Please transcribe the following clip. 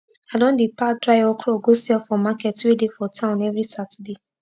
i don dey pack dry okro go sell for market wey dey for town everi saturday